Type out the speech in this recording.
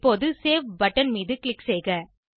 இப்போது save button மீது click செய்க